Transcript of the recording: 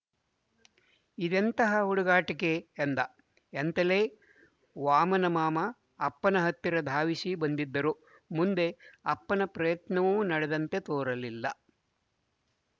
ಇದೆಂತಹ ಹುಡುಗಾಟಿಕೆ ಎಂದ ಎಂತಲೇ ವಾಮನಮಾಮ ಅಪ್ಪನ ಹತ್ತಿರ ಧಾವಿಸಿ ಬಂದಿದ್ದರು ಮುಂದೆ ಅಪ್ಪನ ಪ್ರಯತ್ನವೂ ನಡೆದಂತೆ ತೋರಲಿಲ್ಲ